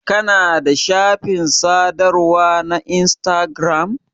Kana da shafin sadarwa na instagiram?